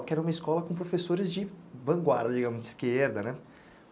Porque era uma escola com professores de vanguarda, digamos, de esquerda né.